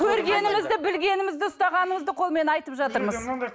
көргенімізді білгенімізді ұстағанымызды қолмен айтып жатырмыз